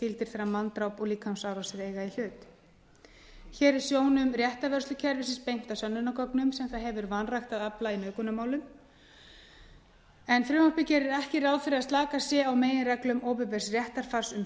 gildir þegar manndráp og líkamsárásir eiga í hlut hér er sjónum réttarvörslukerfisins beint að sönnunargögnum sem það hefur vanrækt að afla í nauðgunarmálum frumvarpið gerir ekki ráð fyrir að slakað sé á meginreglum opinbers réttarfars um